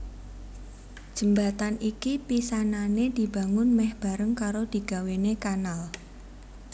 Jembatan iki pisanané dibangun mèh bareng karo digawéné kanal